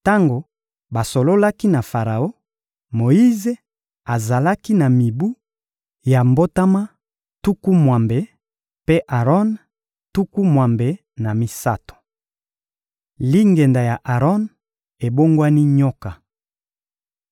Tango basololaki na Faraon, Moyize azalaki na mibu ya mbotama tuku mwambe; mpe Aron, tuku mwambe na misato. Lingenda ya Aron ebongwani nyoka